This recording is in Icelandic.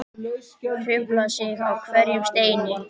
Hrufla sig á hverjum steini.